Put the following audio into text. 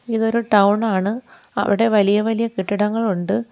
ഇതൊരു ടൗൺ ആണ് അവിടെ വലിയ വലിയ കെട്ടിടങ്ങൾ ഉണ്ട്.